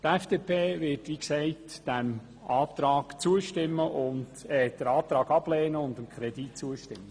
Die FDP wird den Antrag ablehnen und dem Kredit zustimmen.